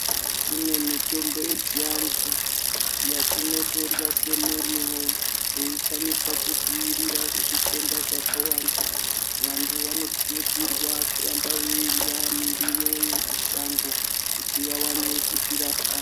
Kune mitombo yechianthu yatinotorya semuriwo yeikwanisa kudziirira zvitenda zvakawanda vanthu vanokurudzirwa kuramba veirya miriwo yemashango kuti vawane kudzirapa.